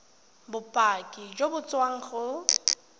bopaki jo bo tswang go